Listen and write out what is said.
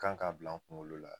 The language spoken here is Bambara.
Kan k'a bila n kunkolo la